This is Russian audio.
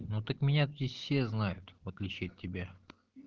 ну так меня здесь все знают в отличие от тебя